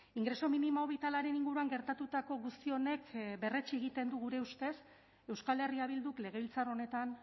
ingreso minimo bitalaren inguruan gertatutako guzti honek berretsi egiten du gure ustez euskal herria bilduk legebiltzar honetan